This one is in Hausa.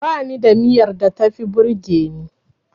Bani da miyar da tafi burgeni.